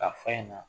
K'a fɔ a ɲɛna